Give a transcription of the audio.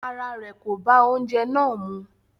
Ará rẹ̀ kò bá oúnjẹ náà mú.